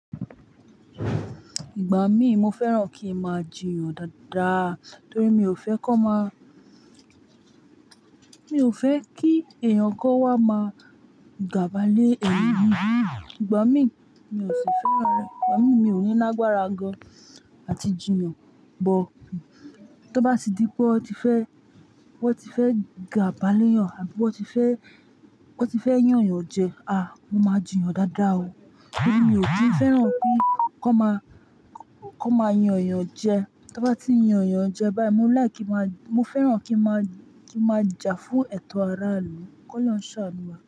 Ìgbà mí mo fẹ́ràn kí n máa jiyàn dáadáa torí mi ò fẹ́ kọ́ má, mi ò fẹ́ kí èèyàn kó wá máa gàbálé ẹni mí. Ìgbà mí, mi ò sì fẹ́ràn rẹ̀. Ìgbà mí, mi ò ní lágbára gan àti jiyàn, bọ́ tó bá tì di pé ó ti fẹ́, ó ti fẹ́ gàbálé yàn àbí ó ti fẹ́, ó ti fẹ́ yàn yàn jẹ, à mo máa jiyàn dáadáa o. Torí mi ò kí ì fẹ́ràn pé kọ́ máa, kọ́ máa yan èèyàn jẹ. Tọ́ n bá ti yan èèyàn jẹ báyìí, mo láì kí n máa, mo fẹ́ràn kí n máa, kí n máa jà fún ẹ̀tọ́ aráàlú, kọ́ lọ̀un ṣà nù wà.